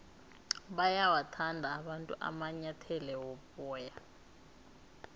bayawathanda abantu amanyathele woboya